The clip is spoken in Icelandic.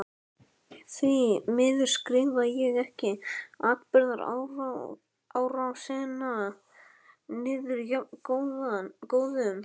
Því miður skrifaði ég ekki atburðarásina niður jafnóðum.